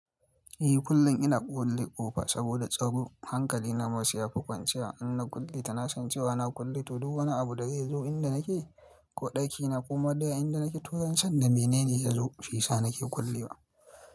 Eh kullum ina kulle ƙofa saboda tsaro hankali nama sai yafi kwanciya. In na kulle ta na san cewa na kulle ta, duk wani abu da zai zo inda nake ko ɗaki na koma dai inda nake to yanzu sanda bene ne ya zo shisa nake kullewa.